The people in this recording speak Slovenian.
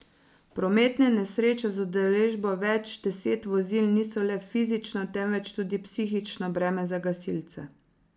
Prometne nesreče z udeležbo več deset vozil niso le fizično, temveč tudi psihično breme za gasilce.